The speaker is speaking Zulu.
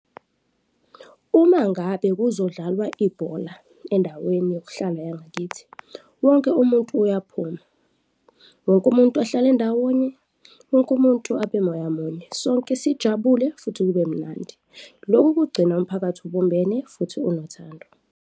Uma ngabe kuzodlalwa ibhola endaweni yokuhlala yangakithi, wonke umuntu uyaphuma, wonke umuntu ahlale ndawonye, wonke umuntu abe moya munye, sonke sijabule futhi kube mnandi. Loku kugcina umphakathi obumbene futhi unothando.